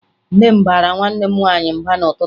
Nne m baara nwanne m nwaanyị mba n'ụtụtụ